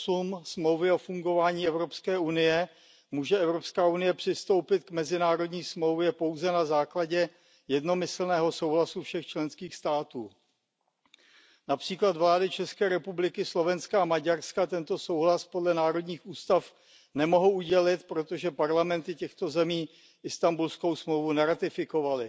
8 Smlouvy o fungování Evropské unie může Evropská unie přistoupit k mezinárodní smlouvě pouze na základě jednomyslného souhlasu všech členských států. Například vlády České republiky, Slovenska a Maďarska tento souhlas podle národních ústav nemohou udělit, protože parlamenty těchto zemí Istanbulskou smlouvu neratifikovaly.